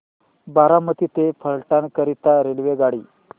बारामती ते फलटण करीता रेल्वेगाडी